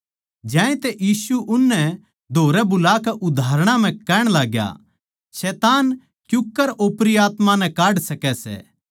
ज्यातै यीशु उननै धोरै बुलाकै उदाहरणां म्ह कहण लाग्या शैतान क्यूँकर ओपरी आत्मायाँ नै काढ सकै सै